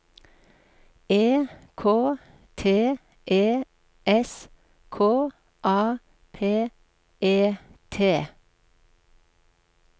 E K T E S K A P E T